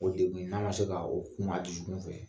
O deguw n'a ma se ka o kun a dusukun fɛ